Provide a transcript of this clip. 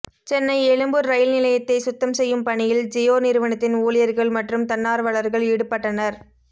Chennai Egmore rail நிலையத்தை சுத்தம் செய்யும் பணியில் ஜியோ நிறுவனத்தின் ஊழியர்கள் மற்றும் தன்னார்வலர்கள் ஈடுபட்டனர்